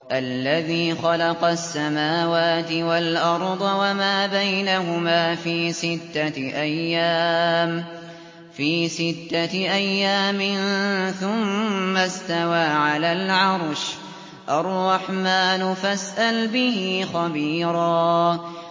الَّذِي خَلَقَ السَّمَاوَاتِ وَالْأَرْضَ وَمَا بَيْنَهُمَا فِي سِتَّةِ أَيَّامٍ ثُمَّ اسْتَوَىٰ عَلَى الْعَرْشِ ۚ الرَّحْمَٰنُ فَاسْأَلْ بِهِ خَبِيرًا